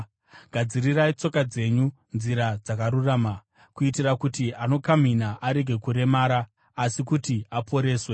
“Gadzirirai tsoka dzenyu nzira dzakarurama,” kuitira kuti anokamhina arege kuva akaremara, asi kuti aporeswe.